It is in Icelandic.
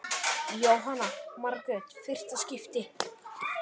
Jóhanna Margrét: Fyrsta skipti?